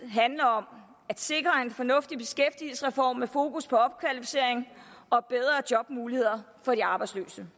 handle om at sikre en fornuftig beskæftigelsesreform med fokus på opkvalificering og bedre jobmuligheder for de arbejdsløse